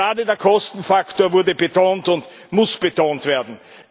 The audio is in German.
Gerade der Kostenfaktor wurde betont und muss betont werden.